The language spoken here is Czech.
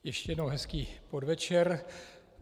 Ještě jednou hezký podvečer.